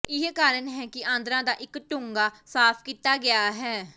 ਇਹੀ ਕਾਰਨ ਹੈ ਕਿ ਆਂਦਰਾਂ ਦਾ ਇੱਕ ਡੂੰਘਾ ਸਾਫ਼ ਕੀਤਾ ਗਿਆ ਹੈ